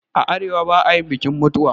A arewa ba'ayin bikin mutuwa